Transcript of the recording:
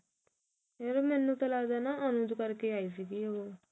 ਮੈਨੂੰ ਤਾਂ ਲੱਗਦਾ ਅਨੁਜ ਕਰਕੇ ਆਈ ਸੀ ਉਹ